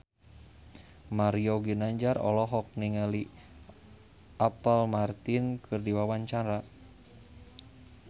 Mario Ginanjar olohok ningali Apple Martin keur diwawancara